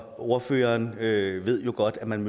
ordføreren ved ved jo godt at man